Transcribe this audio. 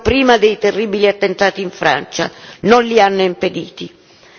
Molte di queste misure esistevano prima dei terribili attentati in Francia.